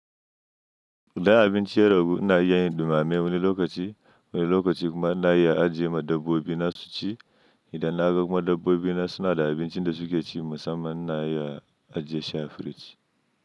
Idan abinci ya ragu na iya yin dumame wani lokaci, wani lokaci kuma na iya ajiye ma dabbobi na suci idan na ga kuma dabbobi na suna da abincin da suke ci musamman na iya ajiye sha a firiji.